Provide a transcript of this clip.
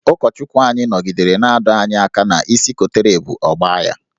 Ụkọchukwu anyị nọgidere na-adọ anyị aka ná isi kotere ebu, ọ gbaa ya.